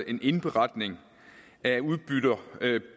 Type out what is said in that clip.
en indberetning af udbytter